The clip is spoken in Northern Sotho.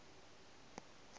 ka nepo ya go ba